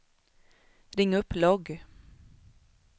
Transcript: ring upp logg